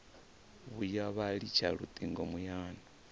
vhuya vha litsha lutingo muyani